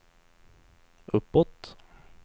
uppåt